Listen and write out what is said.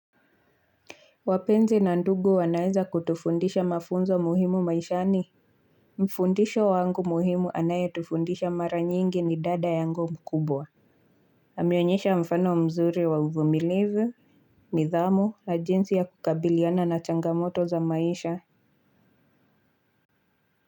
Wapenzi na ndugu wanaeza kutufundisha mafunzo muhimu maishani. Mfundisho wangu muhimu anaye tufundisha mara nyingi ni dada yangu mkubwa. Ameonyesha mfano mzuri wa uvumilivu, nidhamu, na jinsi ya kukabiliana na changamoto za maisha.